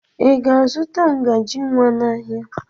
Ị ga-azụta ngaji nwa n'ahịa?